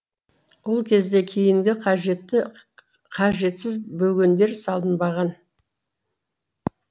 ол кезде кейінгі қажетті қажетсіз бөгендер салынбаған